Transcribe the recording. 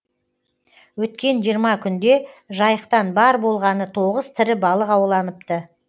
өткен жиырма күнде жайықтан бар болғаны тоғыз тірі балық ауланыпты